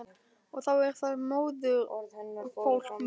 Og þá er það móðurfólk mitt.